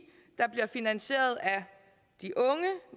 der bliver finansieret af de unge